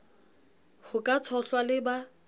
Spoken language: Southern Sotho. ho ka tshohlwa le ba